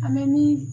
An bɛ ni